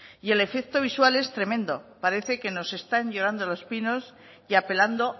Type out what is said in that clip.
y el efecto visual es tremendo parece que nos están llorando los pinos y apelando